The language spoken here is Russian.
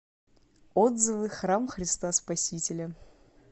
отзывы храм христа спасителя